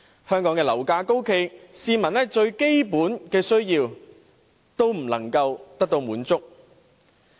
香港樓價高企，市民連最基本的需要亦無法滿足。